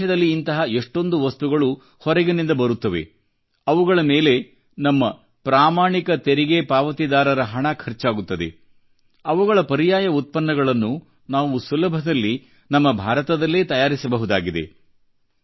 ನಮ್ಮ ದೇಶದಲ್ಲಿ ಇಂತಹ ಎಷ್ಟೊಂದು ವಸ್ತುಗಳು ಹೊರಗಿನಿಂದ ಬರುತ್ತವೆ ಅವುಗಳ ಮೇಲೆ ನಮ್ಮ ಪ್ರಾಮಾಣಿಕ ತೆರಿಗೆ ಪಾವತಿದಾರರ ಹಣ ಖರ್ಚಾಗುತ್ತದೆ ಅವುಗಳ ಪರ್ಯಾಯ ಉತ್ಪನ್ನಗಳನ್ನು ನಾವು ಸುಲಭದಲ್ಲಿ ನಮ್ಮ ಭಾರತದಲ್ಲೇ ತಯಾರಿಸಬಹುದಾಗಿದೆ